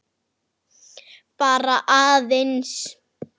Getur þú lýst þessu nánar?